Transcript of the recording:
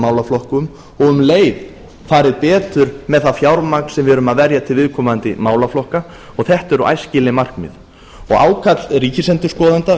málaflokkum og um leið farið betur með það fjármagn sem við erum að verja til viðkomandi málaflokka og þetta eru æskileg markmið ákall ríkisendurskoðanda